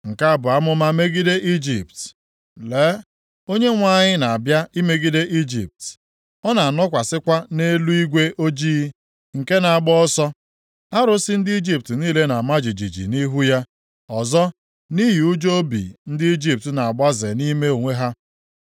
Nke a bụ amụma megide Ijipt: Lee, Onyenwe anyị na-abịa imegide Ijipt, ọ na-anọkwasịkwa nʼeluigwe ojii nke na-agba ọsọ. Arụsị ndị Ijipt niile na-ama jijiji nʼihu ya. Ọzọ, nʼihi ụjọ obi ndị Ijipt na-agbaze nʼime onwe ha.